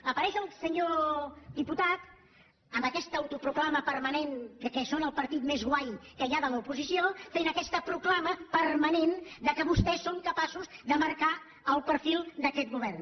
apareix el senyor diputat amb aquesta autoproclama permanent que són el partit més guai que hi ha de l’oposició fent aquesta proclama permanent que vostès són capaços de marcar el perfil d’aquest govern